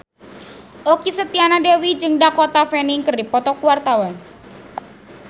Okky Setiana Dewi jeung Dakota Fanning keur dipoto ku wartawan